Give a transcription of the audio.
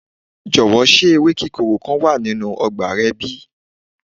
jowo se ewe kikoro kan wa ninu agbo re bi?